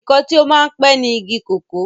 ǹkan tí ó máa ń pẹ́ ni igi kòkó